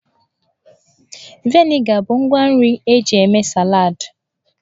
Vịnịga bụ ngwa nri eji eme saladị.